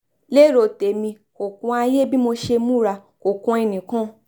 lérò tèmi kò kan ayé bí mo ṣe múra kò kan ẹnìkan